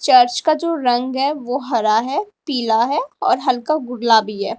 Church का जो रंग है वो हरा है पीला है और हल्का गुलाबी है।